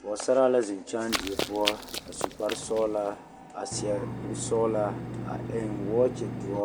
Pɔɡesaraa la zeŋ kyaandie poɔ a su kparsɔɔlaa a seɛ kursɔɔlaa a eŋ wɔɔkyidoɔ